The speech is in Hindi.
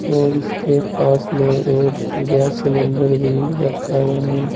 और इसके पास में एक गैस सिलेंडर भी रखा हुआ है।